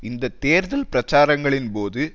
இந்த தேர்தல் பிரச்சாரங்களின் போது